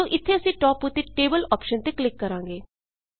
ਸੋ ਇੱਥੇ ਅਸੀਂ ਟਾਪ ਉੱਤੇ ਟੇਬਲ ਆਪਸ਼ਨ ਟੇਬਲ ਆਪਸ਼ਨ ਤੇ ਕਲਿੱਕ ਕਰਾਂਗੇ